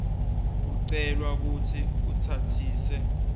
ucelwa kutsi utsatsise